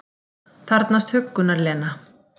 Þarfnast huggunar, Lena.